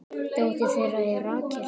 Dóttir þeirra er Rakel.